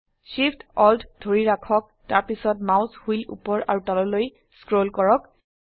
Shift Alt ধৰি ৰাখক তাৰপিছত মাউস হুইল উপৰ আৰু তললৈ স্ক্ৰল কৰক